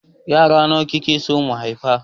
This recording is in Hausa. Yara nawa kake so mu haifa?